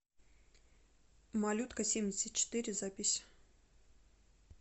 малюткасемьдесятчетыре запись